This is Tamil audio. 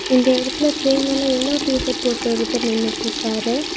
இந்த எடத்துல ட்ரே மேல எல்லோ டீசர்ட் போட்டு ஒருத்தர் நின்னுட்ருக்காரு.